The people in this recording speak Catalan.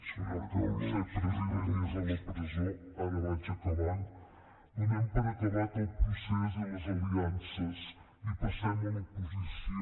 que no ha pogut ser president i és a la presó ara vaig acabant donem per acabat el procés i les aliances i passem a l’oposició